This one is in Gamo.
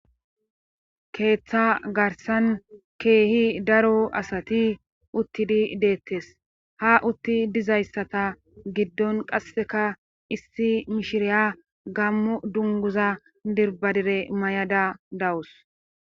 keeththa garsan keehi daro asati uttidi deettes ha utti dizayssata giddon qasseka issi mishiriya gammo dunguza dirbadire may7ada dawus